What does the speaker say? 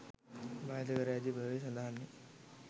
භාවිත කර ඇති බැව් සඳහන් වේ.